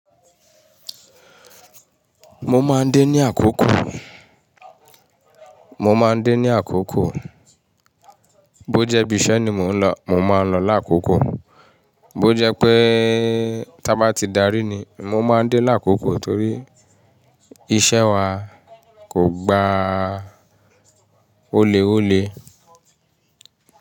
Mo máa ń dé ní àkókò. Mo máa ń dé ní àkókò. Bó jẹ́ ibisẹ́ ni mò ń lọ, mo máa ń lọ lákòókò. Bó jẹ́ pé tá bá ti darí ni, mo máa ń dé lákòókò torí iṣẹ́ wa kò gba ó lé ó lé.